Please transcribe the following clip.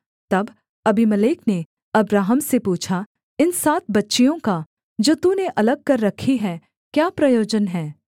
तब अबीमेलेक ने अब्राहम से पूछा इन सात बच्चियों का जो तूने अलग कर रखी हैं क्या प्रयोजन है